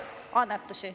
Teie aeg!